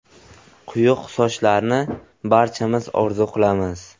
Quyuq sochlarni barchamiz orzu qilamiz.